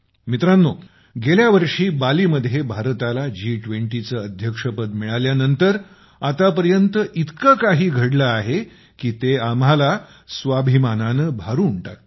मित्रांनो गेल्या वर्षी बाली मध्ये भारताला जी २० चं अध्यक्षपद मिळाल्यानंतर आतापर्यंत इतकं काही घडलं आहे की ते आपल्याला स्वाभिमानानं भरून टाकतं